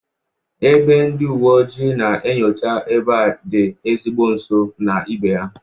Ebe ndị uwe ojii na-enyocha ebe a dị ezigbo nso na ibe ha